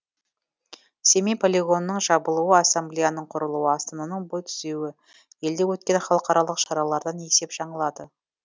семей полигонының жабылуы ассамблеяның құрылуы астананың бой түзеуі елде өткен халықаралық шаралардан есеп жаңылады